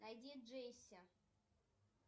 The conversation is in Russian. найди джесси